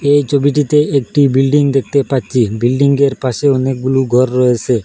এই ছবিটিতে একটি বিল্ডিং দেখতে পাচ্ছি বিল্ডিংয়ের পাশে অনেকগুলো ঘর রয়েসে।